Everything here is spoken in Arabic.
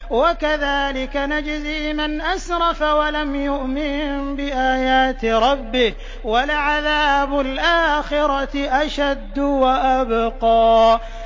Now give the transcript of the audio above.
وَكَذَٰلِكَ نَجْزِي مَنْ أَسْرَفَ وَلَمْ يُؤْمِن بِآيَاتِ رَبِّهِ ۚ وَلَعَذَابُ الْآخِرَةِ أَشَدُّ وَأَبْقَىٰ